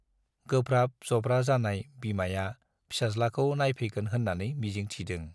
गोब्राब जब्रा जानाय बिमाया फिसाज्लाखौ नायफैगोन होन्नानै मिजिंक थिदों।